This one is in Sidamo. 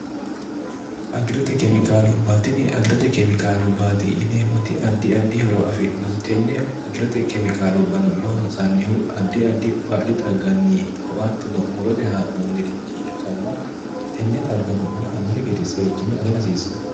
agirote keemikaalubbaatinni agirote keemikaalu baati yineemmoti addi addi horo afi'hnote tenne agirote keemikaalubbano loonsannihu addi addi baadi xagganni ikko attono'murote haa'noonnirichi ikkanna tenne xaggano ba annohi gede seekkine aga rasiissanno